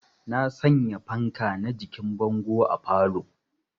Na sanya fanka na jikin bango a falow